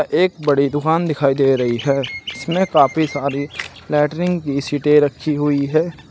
एक बड़ी दुकान दिखाई दे रही है इसमें काफी सारी लैट्रिन की सीटें रखी हुई है।